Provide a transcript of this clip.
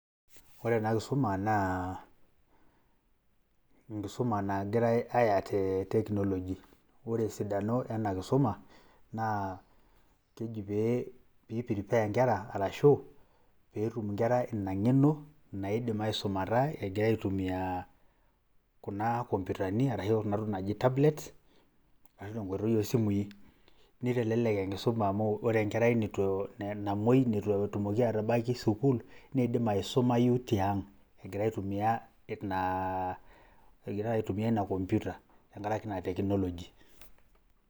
Ore ena kisuma naa enkisuma nagirai aya te teknoji naa ore esidano ena kisuma naa keji pee piiprepare nkera arashu peetum inkera ina ng'eno naidim aisumata egira aitumia kuna komputani arashu kuna tokitin naaji tablet ashu te nkoitoi o simui, nitelelek enkisuma amu ore enkerai nitu namuoi nitu etumoki atabaiki sukuul nidim aisumayu tiang' egira aitumia ina komputa tenkaraki ina teknoloji.